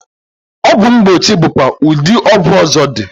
Ogwu mgbochi bụkwa ụdị ọgwụ ọzọ dị.